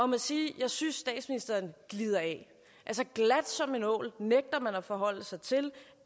må sige at jeg synes statsministeren glider af glat som en ål nægter man at forholde sig til